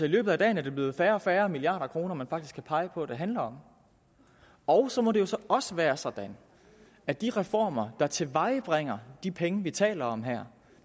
i løbet af dagen er det blevet færre og færre milliarder kroner man faktisk kan pege på det handler om og så må det jo også være sådan at de reformer der tilvejebringer de penge vi taler om her